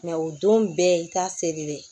o don bɛɛ i t'a seri dɛ